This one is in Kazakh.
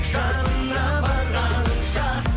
жанына барғаныңша